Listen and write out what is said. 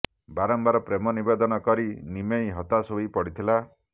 ବାରମ୍ବାର ପ୍ରେମ ନିବେଦନ କରି ନିମେଇ ହତାଶ ହୋଇ ପଡ଼ିଥିଲା